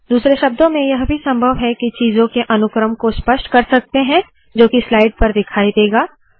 दूसरे शब्दों में यह भी संभव है के चीजों के अनुक्रम को स्पष्ट कर सकते है जो की स्लाइड पर दिखाई देगा